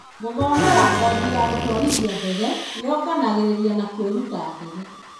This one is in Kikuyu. Gũthomera kothi ya gũtwarithia ndege yonganagĩrĩria na kũĩruta ndege.